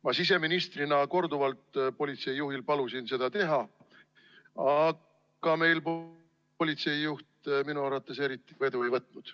Ma siseministrina palusin korduvalt politseijuhil seda teha, aga politseijuht minu arvates eriti vedu ei võtnud.